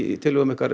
í tillögum